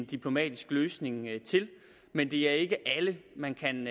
diplomatisk løsning til men det er ikke alle man kan